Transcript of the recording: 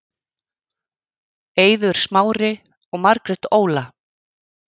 Eiður Smári og Margrét Óla